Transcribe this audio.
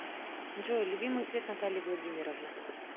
джой любимый цвет натальи владимировны